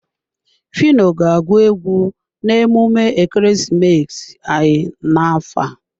Phyno ga-agụ egwu na emume ekeresimesi anyị n'afọ a.